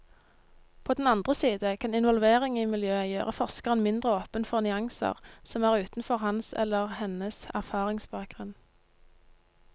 På den andre side kan involvering i miljøet gjøre forskeren mindre åpen for nyanser som er utenfor hans eller hennes erfaringsbakgrunn.